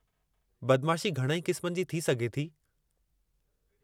बदमाशी घणई क़िस्मनि जी थी सघे थी।